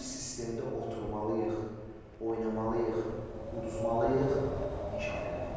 Bir sistemdə oturmalıyıq, oynamalıyıq, udmalıyıq, inkişaf eləməliyik.